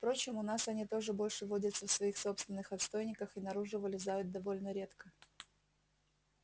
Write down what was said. впрочем у нас они тоже больше водятся в своих собственных отстойниках и наружу вылезают довольно редко